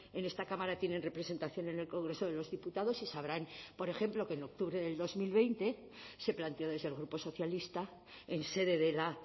en esta cámara tienen representación en el congreso de los diputados y sabrán por ejemplo que en octubre del dos mil veinte se planteó desde el grupo socialista en sede de la